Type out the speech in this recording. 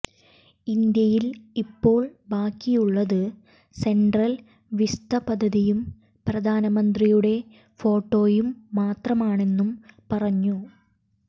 ഇന്ത്യയിൽ ഇപ്പോൾ ബാക്കിയുള്ളത് സെൻട്രൽ വിസ്ത പദ്ധതിയും പ്രധാനമന്ത്രിയുടെ ഫോട്ടോയും മാത്രമാണെന്നും പറഞ്ഞു